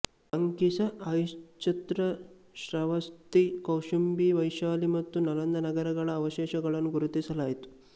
ಸಂಕಿಸ್ಸ ಅಹಿಚ್ಛತ್ರ ಶ್ರಾವಸ್ತಿ ಕೌಶಾಂಬಿ ವೈಶಾಲಿ ಮತ್ತು ನಲಂದ ನಗರಗಳ ಅವಶೇಷಗಳನ್ನೂ ಗುರ್ತಿಸಲಾಯಿತು